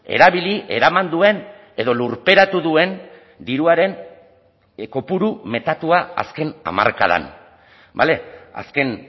erabili eraman duen edo lurperatu duen diruaren kopuru metatua azken hamarkadan bale azken